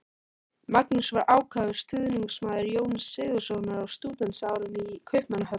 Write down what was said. Magnús var ákafur stuðningsmaður Jóns Sigurðssonar á stúdentsárum í Kaupmannahöfn.